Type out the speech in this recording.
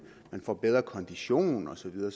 man får bedre kondition og så videre